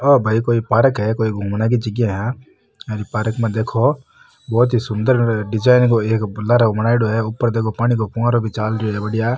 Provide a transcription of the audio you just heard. ओ भाई कोई पार्क है कोई घूमने की जगा है आ पार्क में देखो बहुत ही सुन्दर डिजाइन को एक लार बनायेडॉ है ऊपर देखो पानी को फ़ुवारो चाल रो है बढ़िया।